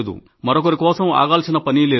మరొకరి కోసం ఆగాల్సిన పనీ లేదు